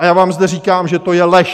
A já vám zde říkám, že to je lež.